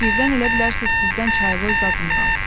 Birdən elə bilərsiniz sizdən çayvoy zad umuram.